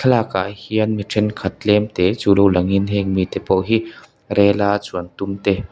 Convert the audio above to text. thlalakah hian miṭhen khat tlemte chu lo langin heng mi te pawh hi rail a chuan tum te--